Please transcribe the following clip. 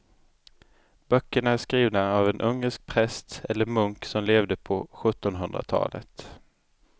Böckerna är skrivna av en ungersk präst eller munk som levde på sjuttonhundratalet.